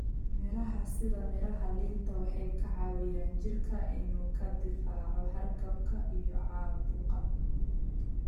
Miraha sida miraha liinta waxay ka caawiyaan jirka inuu ka difaaco hargabka iyo caabuqa.